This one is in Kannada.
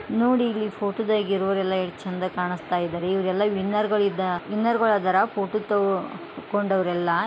ನೋಡಿ ಇಲ್ಲಿ ಫೋಟೋ ದಾಗಿ ಇರೋವರೆಲ್ಲ ಎಷ್ಟು ಚೆಂದ ಕಾಣುಸ್ತಾ ಇದಾರೆ ಇವರೆಲ್ಲ ವಿನ್ನರ್ ಗಳು ಇದ ವಿನ್ನರ್ ಗಳ್ ಅದಾರ ಫೋಟೋ ತೆಕ್ಕೊಂಡವ್ರು ಎಲ್ಲಾ .